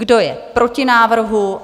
Kdo je proti návrhu?